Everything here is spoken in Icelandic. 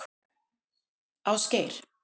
Ásgeir